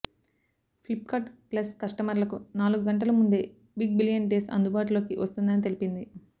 Flipkart Plus కస్టమర్లకు నాలుగు గంటల ముందే బిగ్ బిలియన్ డేస్ అందుబాటులోకి వస్తుందని తెలిపింది